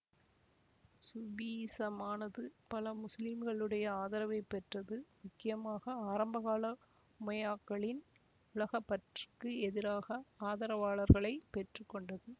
சூபிசமானது பல முஸ்லிம்களிடையே ஆதரவை பெற்றதுமுக்கியமாக ஆரம்பகால உமையாக்களின் உலகப்பற்றுக்கு எதிராக ஆதரவாளர்களை பெற்று கொண்டது